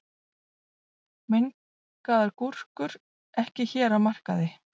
Mengaðar gúrkur ekki hér á markaði